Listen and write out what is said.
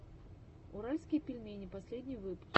уральские пельмени последний выпуск